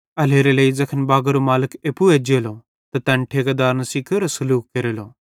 एल्हेरेलेइ ज़ैखन बागरो मालिक एप्पू एज्जेलो त तैन ठेकेदारन सेइं केरो सलूख केरेलो